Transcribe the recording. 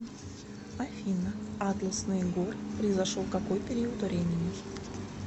афина атласные горы произошел какой период времени